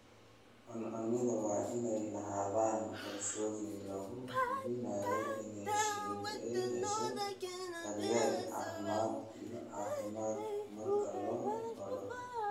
Cuncunyadu waa inay lahaadaan qorshooyin lagu hubinayo in shinnidu ay hesho daryeel caafimaad iyo caafimaad marka loo baahdo.